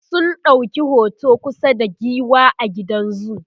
sun ɗauki hoto kusa da giwa a gidan zoo